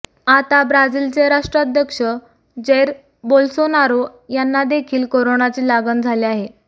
आता ब्राझीलचे राष्ट्राध्यक्ष जैर बोल्सोनारो यांना देखील कोरोनाची लागण झाली आहे